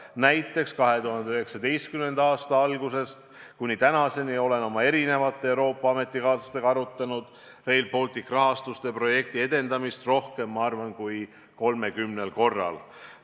Näiteks 2019. aasta algusest kuni tänaseni olen oma Euroopa ametikaaslastega arutanud Rail Balticu rahastuse projekti edendamist rohkem kui 30 korral.